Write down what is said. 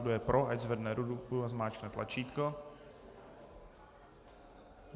Kdo je pro, ať zvedne ruku a zmáčkne tlačítko.